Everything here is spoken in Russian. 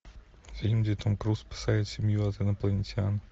фильм где том круз спасает семью от инопланетян